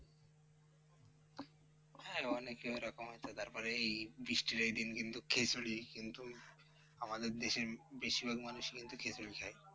হ্যাঁ অনেকে ওরকম আছে, তারপরে এই বৃষ্টির এই দিন কিন্তু খিঁচুড়ি কিন্তু আমাদের দেশের বেশিরভাগ মানুষই কিন্তু খিঁচুড়ি খায়।